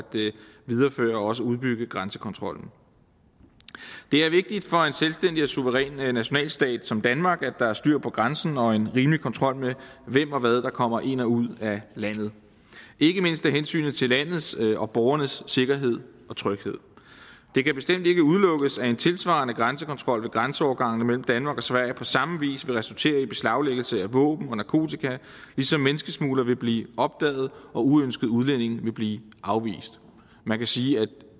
videreføre og også udbygge grænsekontrollen det er vigtigt for en selvstændig og suveræn nationalstat som danmark at der er styr på grænserne og en rimelig kontrol med hvem og hvad der kommer ind og ud af landet ikke mindst af hensyn til landets og borgernes sikkerhed og tryghed det kan bestemt ikke udelukkes at en tilsvarende grænsekontrol ved grænseovergangene mellem danmark og sverige på samme vis ville resultere i beslaglæggelse af våben og narkotika ligesom menneskesmuglere ville blive opdaget og uønskede udlændinge ville blive afvist man kan sige at